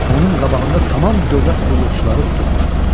Onun qabağında tamam dövlət qulluqçuları durmuşdular.